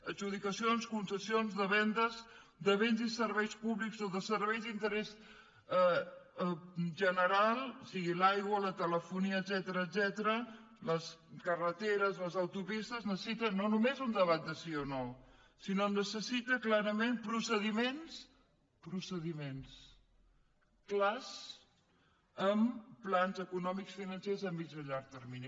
adjudicacions concessions vendes de béns i serveis públics o de serveis d’interès general sigui l’aigua la telefonia etcètera les carreteres les autopistes necessiten no només un debat de sí o no sinó que necessiten clarament procediments procediments clars amb plans econòmics financers a mitjà i a llarg termini